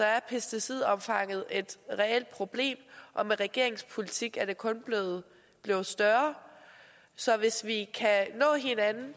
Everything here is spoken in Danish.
er pesticidomfanget et reelt problem og med regeringens politik er det kun blevet større så hvis vi kan nå hinanden